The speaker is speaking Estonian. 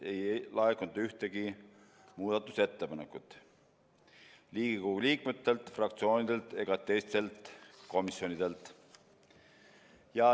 Ei laekunud ühtegi muudatusettepanekut Riigikogu liikmetelt, fraktsioonidelt ega teistelt komisjonidelt.